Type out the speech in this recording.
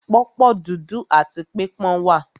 Pọ̀pọ́ dúdú áti pípọ́n wà.